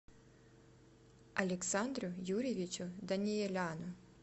александру юрьевичу даниеляну